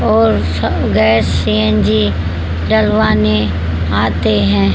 और gas CNG डलवाने आते हैं।